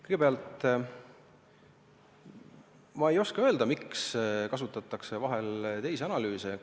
Kõigepealt, ma ei oska öelda, miks kasutatakse vahel teisi analüüse.